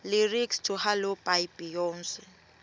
lyrics to halo by beyonce